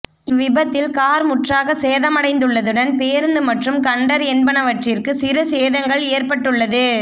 இவ்விபத்தில் car முற்றாக சேதமடைந்துள்ளதுடன் பேருந்து மற்றும் கண்டர் என்பனவற்றிற்கு சிறு சேதங்கள் ஏற்ப்பட்டுள்ளது